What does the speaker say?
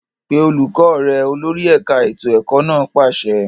Pe olùkọ́ rẹ! Olórí ẹ̀ka ètò ẹ̀kọ́ náà pàṣẹ.